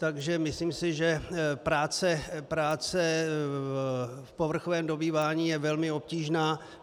Takže myslím si, že práce v povrchovém dobývání je velmi obtížná.